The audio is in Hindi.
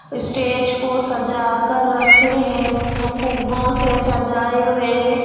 स्टेज को सजा कर रखे है फ-फुग्गो से सजाये हुए है.